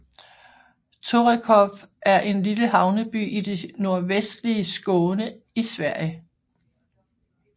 Torekov er en lille havneby i det nordvestlige Skåne i Sverige